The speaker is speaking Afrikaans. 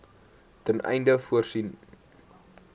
ten einde voorsiening